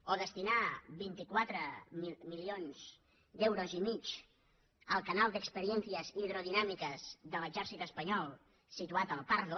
o destinar vint quatre milions d’euros i mig al canal de experiencias hidrodinámicas de l’exèrcit espanyol situat al pardo